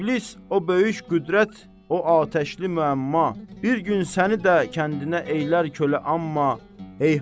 İblis o böyük qüvvət, o atəşli müəmma, bir gün səni də kəndinə eylər qulə, əmma heyhat!